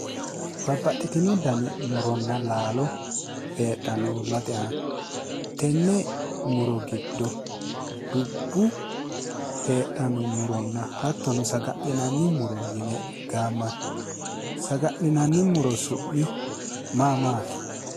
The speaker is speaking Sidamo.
Babbaxitino danni muronna laalo heedhano uullate aana ,tene muro giddo dubbu heedhanonna saga'linanni muro yinne gaamani ,saga'linanni muro su'mi maa maati ?